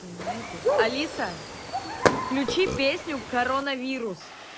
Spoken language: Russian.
понимаете алиса включи песню коронавирус